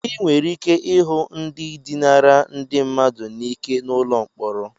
Ị nwere ike ịhụ ndị dinara ndi mmadu n'ike n'ụlọ mkpọrọ.